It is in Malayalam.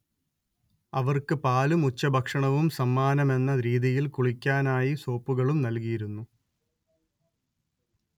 അവർക്ക് പാലും ഉച്ചഭക്ഷണവും സമ്മാനമെന്ന രീതിയിൽ കുളിക്കാനായി സോപ്പുകളും നൽകിയിരുന്നു